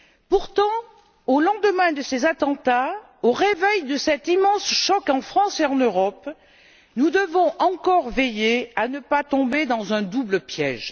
Pourtant, au lendemain de ces attentats, au réveil de cet immense choc en France et en Europe, nous devons encore veiller à ne pas tomber dans un double piège.